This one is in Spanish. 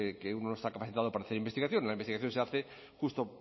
que uno no está capacitado para hacer investigación la investigación se hace justo